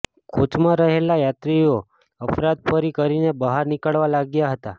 કોચમાં રહેલા યાત્રીઓ અફરાતફરી કરીને બહાર નીકળવા લાગ્યા હતા